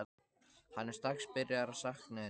Hann er strax byrjaður að sakna hennar.